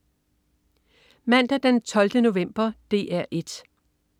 Mandag den 12. november - DR 1: